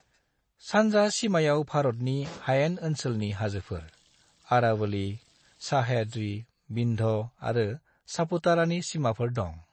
सानजा सीमायाव भारतनि हायेन ओनसोलनि हाजोफोर, अरावली, सह्याद्रि, विंध्य आरो सापुतारानि सीमाफोर दं।